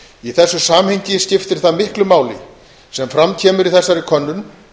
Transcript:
í þessu samhengi skiptir það miklu máli sem fram kemur í þessari könnun